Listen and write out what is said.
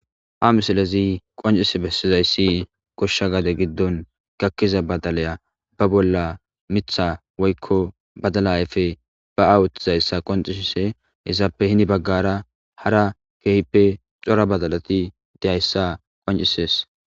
ha misilezi qoncise bessizayssi goshsha gade giddon gakkiza badalaya ba bolla mitha woykko badala ayfe ba awuthtizayssa qoncishise hezaappe hini baggara hara keehippe cora badalati dehayssa qoncisees